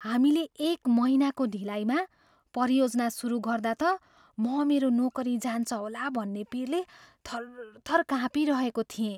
हामीले एक महिनाको ढिलाइमा परियोजना सुरु गर्दा त म मेरो नोकरी जान्छ होला भन्ने पिरले थरथर कापिँरहेको थिएँ।